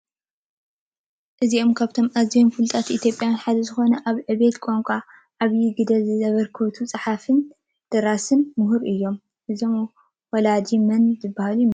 እዚኦም ካብቶም አዝዮም ፍሉጣት ኢትዮጵያውያን ሐደ እንትኾኑ አብ ዕብየት ቋንቋ ዓብዩ ግደ ዛበርከቱ ደራስን ፀሐፍን ምሁር እዮም። እዞም ወላዲ መን ዝበሃሉ ይመስለኩም?